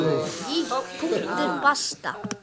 Punktur basta!